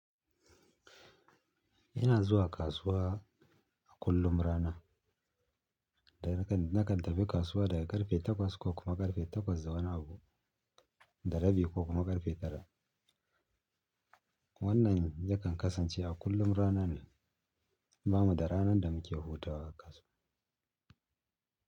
Ina zuwa kasuwa a kullum rana. Da nakan, nakan tafi kasuwa daga ƙarfe takwas ko kuma ƙarfe takwas da wani abu, da rabi ko kuma ƙarfe tara. Wannan yakan kasance a kullum rana ne, ba mu da ranar da muke hutawa a kasuwa.